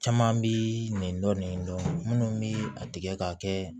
Caman bi nin dɔn nin dɔn munnu bi a tigɛ ka kɛ